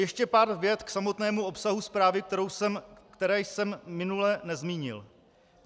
Ještě pár vět k samotnému obsahu zprávy, které jsem minule nezmínil.